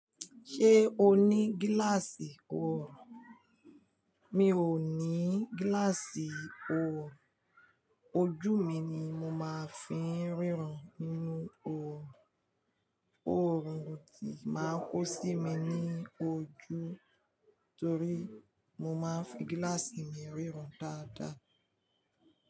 Ṣé o ní gíláàsì o? Mi ò ní gíláàsì òrun, ojú mi ni mo máa ń fi ń ríran nínú òrun. Oòrùn òtí máa kó sí mi ní ojú torí mo máa ń fi gíláàsì mi ríran dáadáa.